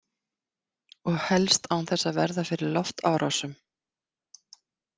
Og helst án þess að verða fyrir loftárásum